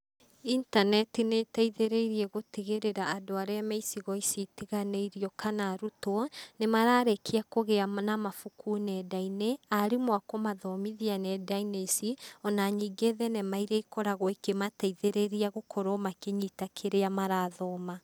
Intaneti nĩ ĩteithĩrĩirie gũtigĩrĩra andũ arĩa me icigo ici itiganĩirio kana arutwo nĩ mararĩkia kũgĩa na mabuku nenda-inĩ, arimũ a kũmathomothia nenda-inĩ ici, ona ningĩ thenema irĩa ikoragwo ikĩmateithĩrĩria gũkorwo makĩnyita kĩrĩa marathoma.